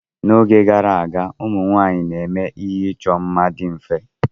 N'oge gara aga, ụmụ nwanyị na-eme ihe ịchọ mma dị mfe.